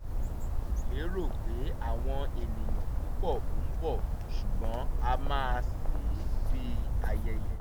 a ò lérò pé àwọn ènìyàn púpọ́ ń bọ̀ ṣùgbọ́n a máa ṣe é bí ayẹyẹ